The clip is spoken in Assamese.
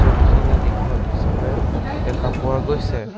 চুলিখিনি দীঘল হিচাপে দেখা পোৱা গৈছে।